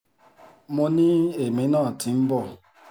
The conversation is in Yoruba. mo ní èmi náà ti ń bọ̀